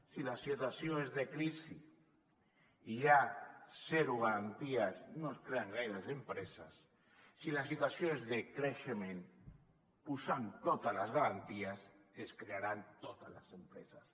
si la situació és de crisi hi ha zero garanties no es creen gaires d’empreses si la situació és de creixement posant hi totes les garanties es crearan totes les empreses